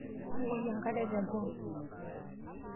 Mbukoi enkare teboo.